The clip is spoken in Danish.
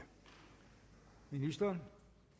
ministeren